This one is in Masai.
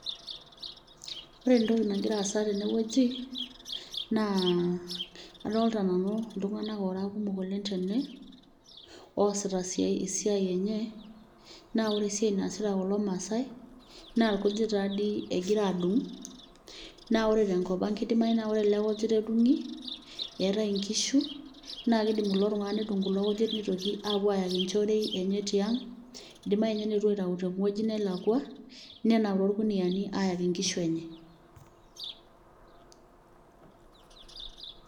Oore entoki nagira aasa tene wueji, naa adolta nanu iltung'anak oora kumok oleng teene, oasita esiai eenye naa oore esiai naasita kulo maasae, naa irkujit taa toi egira aadung', naa ore tenkop ang keidimau naa oore egirae aadung neetae inkishu naa keidim kulo tung'anak nedung kulo kujit nepuo aayaki inchorei eenye tiang, eidimau ninye neetuo aitau tewueji nelakua nenap torkuniyiani ayaki inkishu eenye.